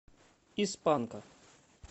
из панка